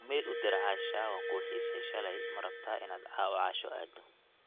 iimayl u dir asha waan kuu xiisay shalay ma rabtaa inaad caawa casho aado